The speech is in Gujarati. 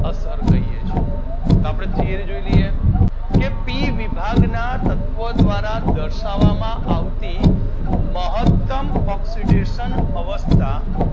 અસર કહીએ છીએ આપદે થીયરી જોઈ લઈએ કે પી વિભાગના તત્વો દ્વારા દર્શાવામાં આવતી મહતમ ઓક્સીડેશન અવસ્થા અસર કહીએ છીએ